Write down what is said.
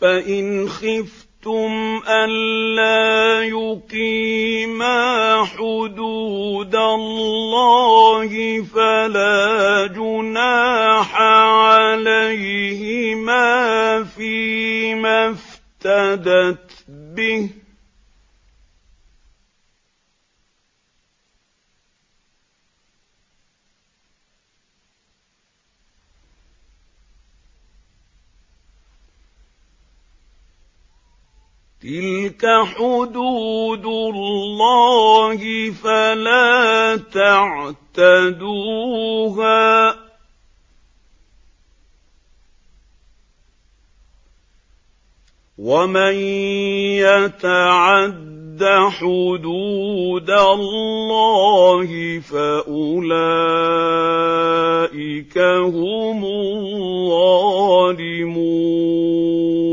فَإِنْ خِفْتُمْ أَلَّا يُقِيمَا حُدُودَ اللَّهِ فَلَا جُنَاحَ عَلَيْهِمَا فِيمَا افْتَدَتْ بِهِ ۗ تِلْكَ حُدُودُ اللَّهِ فَلَا تَعْتَدُوهَا ۚ وَمَن يَتَعَدَّ حُدُودَ اللَّهِ فَأُولَٰئِكَ هُمُ الظَّالِمُونَ